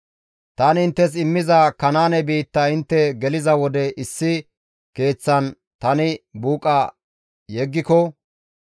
«Tani inttes immiza Kanaane biitta intte geliza wode issi keeththan tani buuqa yeggiko,